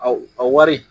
A wari